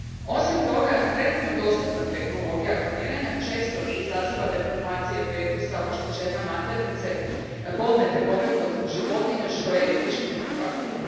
Osim toga, trenutno dostupna tehnologija kloniranja često izaziva deformacije fetusa, oštećenja maternice, bolne tegobe kod životinja, što je etički neprihvatljivo.